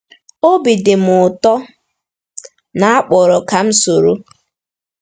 Obi dị m ụtọ na a kpọrọ m ka m soro.